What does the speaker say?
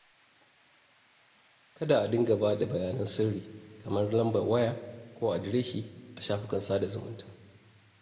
Kada a dinga ba da bayanan sirri kamar lambar waya ko adireshi a shafukan sada zumunta.